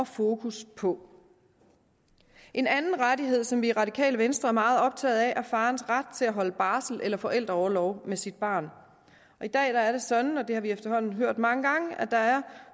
fokus på en anden rettighed som vi i radikale venstre er meget optaget af at farens ret til at holde barsel eller forældreorlov med sit barn i dag er det sådan og det har vi efterhånden hørt mange gange at der er